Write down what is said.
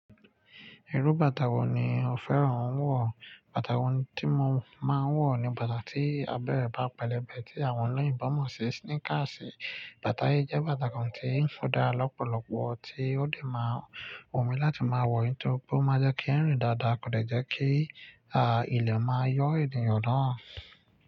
Irú bàtà wo ni o fẹ́ràn wọ̀? Bàtà kan tí mo máa ń wọ̀ ni bàtà tí abẹ́ bá pẹlẹbẹ, tí àwọn oloyinbo mọ̀ sí sneakers. Bàtà yìí jẹ́ bàtà kan tí ń fò dáa lọ́pọ̀lọpọ̀, tí ó lè máa wù mí láti máa wọ̀ ó, torí ó máa jẹ́ kí ń rìn dáadáa, kò dẹ̀ jẹ́ kí, à, ilẹ̀ máa yọ́ ènìyàn naa.